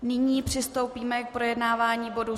Nyní přistoupíme k projednání bodu